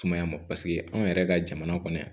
Tumaya ma anw yɛrɛ ka jamana kɔnɔ yan